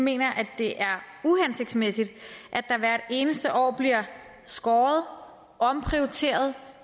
mener at det er uhensigtsmæssigt at der hvert eneste år bliver skåret omprioriteret